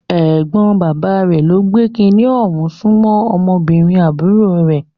Ẹ̀gbọ́n bàbá rẹ̀ ló ń gbé kiní ọ̀hún sún mọ́ ọmọbìnrin àbúrò rẹ̀.